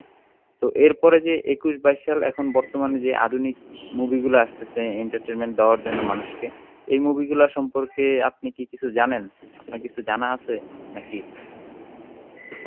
তো এরপরে যে একুশ বাইশ সাল এখন বর্তমানে যে আধুনিক movie গুলা আসতেছে entertainment দেওয়ার জন্য মানুষকে এই movie গুলা সম্পর্কে আপনি কি কিছু জানেন আপনার কিছু জানা আছে নাকি?